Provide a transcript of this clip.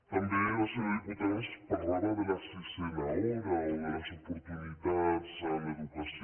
també la senyora diputada ens parlava de la sisena hora o de les oportunitats en l’educació